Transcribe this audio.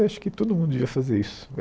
Acho que todo mundo devia fazer isso.